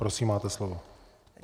Prosím máte slovo.